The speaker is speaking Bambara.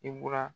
I bɔra